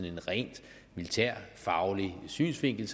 en rent militærfaglig synsvinkel